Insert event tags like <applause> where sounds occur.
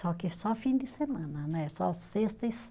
Só que é só fim de semana né, só sexta e <unintelligible>